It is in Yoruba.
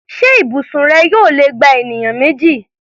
Ṣé ibùsùn rẹ yóò lè gba ènìyàn méjì?